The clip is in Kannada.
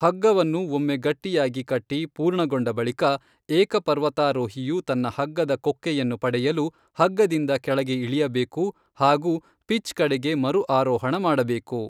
ಹಗ್ಗವನ್ನು ಒಮ್ಮೆ ಗಟ್ಟಿಯಾಗಿ ಕಟ್ಟಿ ಪೂರ್ಣಗೊಂಡ ಬಳಿಕ, ಏಕ ಪರ್ವತಾರೋಹಿಯು ತನ್ನ ಹಗ್ಗದ ಕೊಕ್ಕೆಯನ್ನು ಪಡೆಯಲು ಹಗ್ಗದಿಂದ ಕೆಳಗೆ ಇಳಿಯಬೇಕು ಹಾಗೂ ಪಿಚ್ ಕಡೆಗೆ ಮರು ಆರೋಹಣ ಮಾಡಬೇಕು.